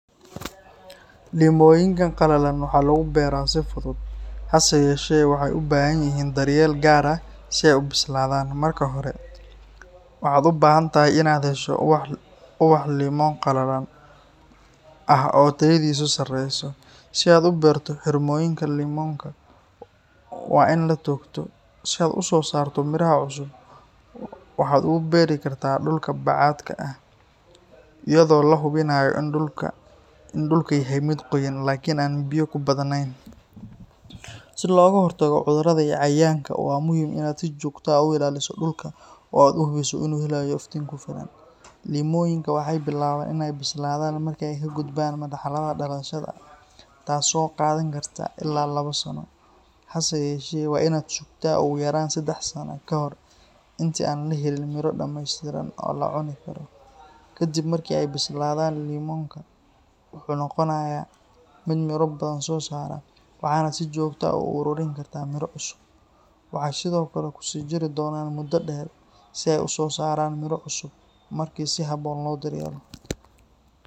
Limooyinka qalalan waxaa lagu beeraa si fudud, hase yeeshee, waxay u baahan yihiin daryeel gaar ah si ay u bislaadaan. Marka hore, waxaad u baahan tahay inaad hesho ubax limon qalalan ah oo tayadiisu sareyso. Si aad u beerto, xirmooyinka limonka waa in la toogto, si aad u soo saarto miraha cusub. Waxaad ugu beeri kartaa dhulka bacad ah, iyadoo la hubinayo in dhulku yahay mid qoyan laakiin aan biyo ku badanayn. Si looga hortago cudurada iyo cayayaanka, waa muhiim inaad si joogto ah u ilaaliso dhulka oo aad hubiso inuu helayo iftiin ku filan. Limooyinka waxay bilaabaan inay bislaadaan marka ay ka gudbaan marxaladda dhalashada, taasoo qaadan karta illaa labo sano. Hase yeeshee, waa inaad sugtaa ugu yaraan saddex sano ka hor inta aan la helin miro dhammeystiran oo la cuni karo. Ka dib markii ay bislaadaan, limonka wuxuu noqonayaa mid miro badan soo saara, waxaana si joogto ah u ururin kartaa miro cusub. Waxay sidoo kale ku sii jiri doonaan muddo dheer si ay u soo saaraan miro cusub marka si habboon loo daryeelo.